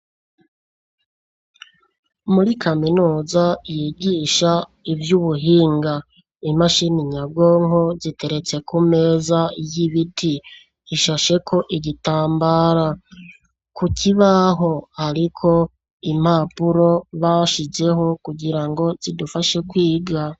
Muri kaminuza yigisha ivyubuhinga, imashini nyabwonko ziteretse kumeza y'ibiti ishasheko igitambara, kukibaho hariko impapuro bashizeho kugirango zidufashe kwiga.